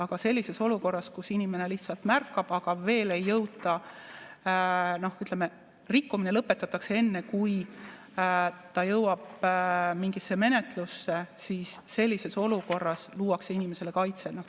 Kuid sellises olukorras, kus inimene lihtsalt märkab, aga ütleme, rikkumine lõpetatakse enne, kui see jõuab mingisse menetlusse, sellises olukorras luuakse inimesele kaitse.